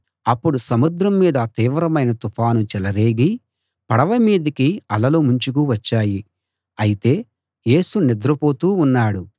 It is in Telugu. అప్పుడు సముద్రం మీద తీవ్రమైన తుఫాను చెలరేగి పడవ మీదికి అలలు ముంచుకు వచ్చాయి అయితే యేసు నిద్రపోతూ ఉన్నాడు